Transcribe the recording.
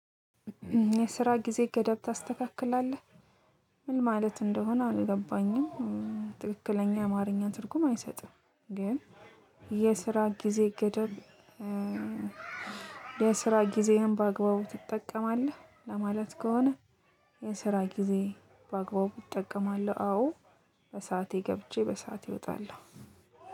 የስራ ጊዜ ገደብ ታስተካክላለህ? ምን ማለት እንደሆነ አልገባ ትክክለኛ የአማርኛ ትርጉም አይሰጥም ግን የስራ ጊዜ ገደብ የስራ ጊዜህን በአግባቡ ትጠቀማለህ? ለማለት ከሆነ፤ የስራ ጊዜ በአግባቡ እጠቀማለሁ። አዎ በሰአቴ ገብቼ በሰአቴ እወጣለሁ።